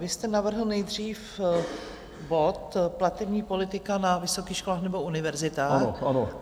Vy jste navrhl nejdřív bod Platební politika na vysokých školách nebo univerzitách.